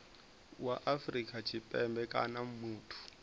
wa afrika tshipembe kana muthu